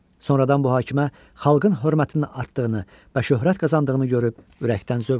Sonradan bu hakimə xalqın hörmətinin artdığını və şöhrət qazandığını görüb ürəkdən zövq alırdı.